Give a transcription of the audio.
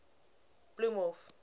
bloemhof